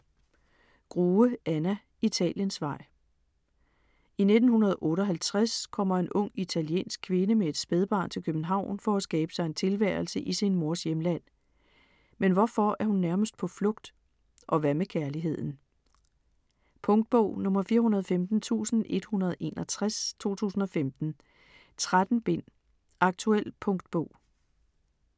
Grue, Anna: Italiensvej I 1958 kommer en ung italiensk kvinde med et spædbarn til København for at skabe sig en tilværelse i sin mors hjemland. Men hvorfor er hun nærmest på flugt? Og hvad med kærligheden? Punktbog 415161 2015. 13 bind. Aktuel punktbog